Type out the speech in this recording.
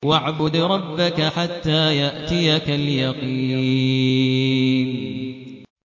وَاعْبُدْ رَبَّكَ حَتَّىٰ يَأْتِيَكَ الْيَقِينُ